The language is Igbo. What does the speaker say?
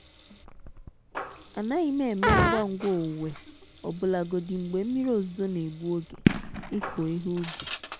anaghị m eme ngwa ngwa owuwe ọbụlagodi mgbe mmiri ozuzo na-egbu oge ịkụ ihe ubi.